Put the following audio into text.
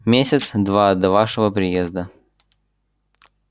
месяца два до вашего приезда